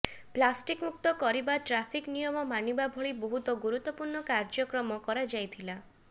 plastic ମୁକ୍ତ କରିବା traffic ନିୟମ ମାନିବା ଭଳି ବହୁ ଗୁରୁତ୍ୱପୂର୍ଣ୍ଣ କାର୍ୟ୍ୟକ୍ରମ କରାଯାଇଥିଲା